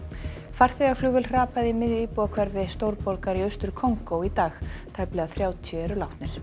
farþegaflugvél hrapaði í miðju íbúðahverfi stórborgar í Austur Kongó í dag tæplega þrjátíu eru látnir